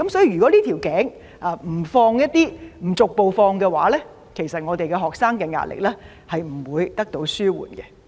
如果這個瓶頸不逐步放寬，學生的壓力不會得到紓緩。